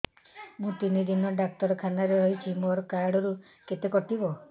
ମୁଁ ତିନି ଦିନ ଡାକ୍ତର ଖାନାରେ ରହିଛି ମୋର କାର୍ଡ ରୁ କେତେ କଟିବ